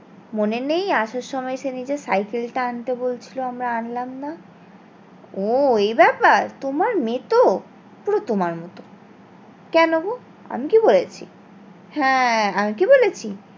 মনে নেই আসার সময় সে নিজের সাইকেল টা আন্তে বলছিলো আমরা আনলাম না ওহ এই ব্যাপার তোমার মেয়েতো পুরো তোমার মতো কেন গো আমি কি করেছি হ্যাঁ আমি কি বলেছি